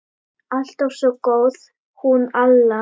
Alltaf svo góð, hún Alla.